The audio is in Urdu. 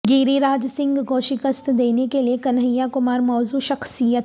گیر ی راج سنگھ کو شکست دینے کیلئے کنہیاکمار موزوں شخصیت